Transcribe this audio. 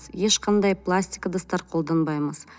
ешқандай пластик ыдыстар қолданбаймыз